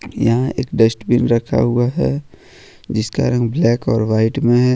यहां एक डस्टबिन रखा हुआ है जिसका रंग ब्लैक और वाइट में है।